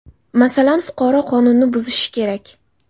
Masalan, fuqaro qonunni buzishi kerak.